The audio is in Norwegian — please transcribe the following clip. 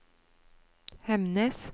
Hemnes